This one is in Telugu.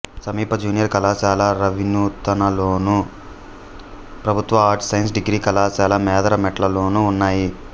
సమీప జూనియర్ కళాశాల రావినూతలలోను ప్రభుత్వ ఆర్ట్స్ సైన్స్ డిగ్రీ కళాశాల మేదరమెట్లలోనూ ఉన్నాయి